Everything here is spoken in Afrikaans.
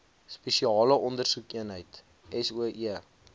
spesiale ondersoekeenheid soe